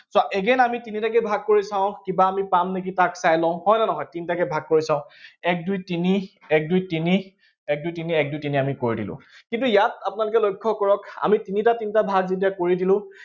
েদ, again আমি তিনিটাকে ভাগ কৰি চাওঁ, কিবা আমি পাম নেকি তাক চাই লওঁ, হয় নে নহয়? তিনটাকে ভাগ কৰি চাওঁ, এক দুই তিনি, এক দুই তিনি, এক দুই তিনি, এক দুই তিনি আমি কৰি দিলো। কিন্তু ইয়াত আপোনালোকে লক্ষ্য কৰক, আমি তিনিটা তিনিটা ভাগ যেতিয়া কৰি দিলো